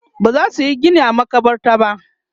bazasu Yi Gini a a makabarta ba